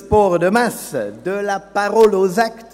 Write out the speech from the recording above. Das sind zwei Berichte, und ich habe nur nach einem gefragt.